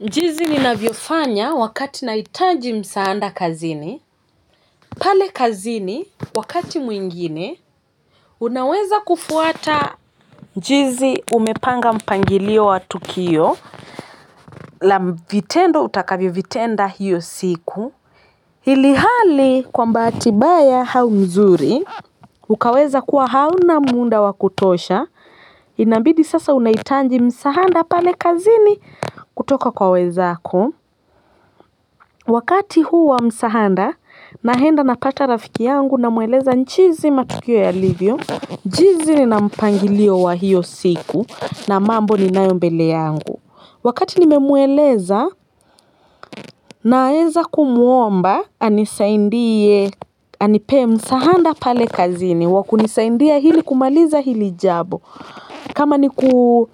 Jinsi ninavyofanya wakati nahitaji msaada kazini pale kazininwakati mwingine unaweza kufuata jinsi umepanga mpangilio wa tukio la vitendo utakavyovitenda hiyo siku ilhali kwa mbahati mbaya au nzuri ukaweza kuwa hauna muda wa kutosha inabidi sasa unahitaji msaada pale kazini kutoka kwa wenzako wakati huo wa msaada naenda napata rafiki yangu namweleza jinsi matukio yalivyo jinsi nina mpangilio wa hiyo siku na mambo ninayo mbele yangu wakati nimemweleza naeza kumuomba anisaidie anipe msaada pale kazini wakunisaidia ili kumaliza hili jambo kama ni ku